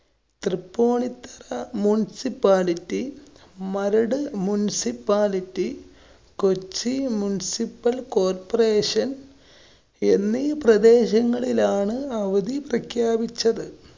Tripunithura municipality, Maradu municipality, Kochi municipal corporation എന്നീ പ്രദേശങ്ങളിലാണ് അവധി പ്രഖ്യാപിച്ചത്.